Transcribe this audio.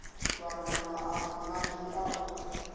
vhamba maano manzhi a u